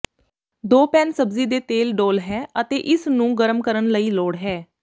ਦੋ ਪੈਨ ਸਬਜ਼ੀ ਦੇ ਤੇਲ ਡੋਲ੍ਹ ਹੈ ਅਤੇ ਇਸ ਨੂੰ ਗਰਮ ਕਰਨ ਲਈ ਲੋੜ ਹੈ